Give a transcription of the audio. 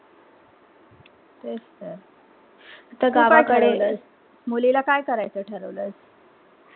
तेच तर ते बारा कढे मुलेला काय करायच ठरवलंस